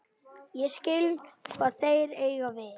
Ég skil hvað þeir eiga við.